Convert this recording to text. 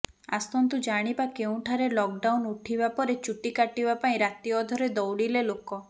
ଆସନ୍ତୁ ଜାଣିବା କେଉଁଠାରେ ଲକଡାଉନ ଉଠିବା ପରେ ଚୁଟି କାଟିବା ପାଇଁ ରାତି ଅଧରେ ଦୌଡିଲେ ଲୋକ